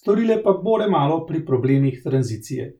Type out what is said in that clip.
storile pa bore malo pri problemih tranzicije?